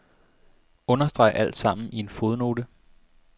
Understreg alt sammen i en fodnote.